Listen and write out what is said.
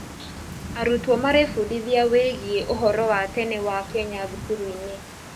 Arutwo marebundithia wĩgiĩ ũhoro wa tene wa Kenya thukuru-inĩ.